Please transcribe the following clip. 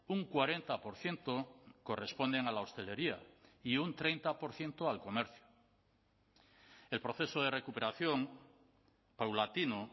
un cuarenta por ciento corresponden a la hostelería y un treinta por ciento al comercio el proceso de recuperación paulatino